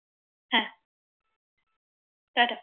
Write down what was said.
হ্যাঁ টাটা